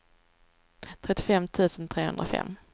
trettiofem tusen trehundrafem